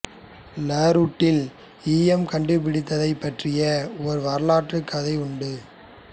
லாருட்டில் ஈயம் கண்டுபிடிக்கப் பட்டதைப் பற்றி ஒரு வரலாற்றுக் கதையும் உண்டு